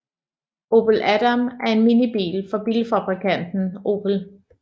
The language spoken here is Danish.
Opel Adam er en minibil fra bilfabrikanten Opel